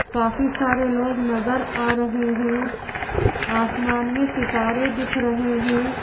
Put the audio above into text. काफी सारे लोग नजर आ रहे हैं आसमान में सितारे दिख रहे हैं।